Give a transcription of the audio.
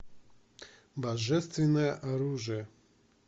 божественное оружие